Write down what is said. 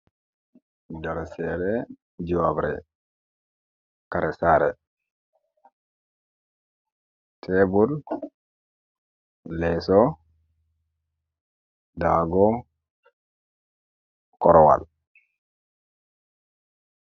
Dou hosere juwabre, kera sare, tebul, leso, dago, korowal.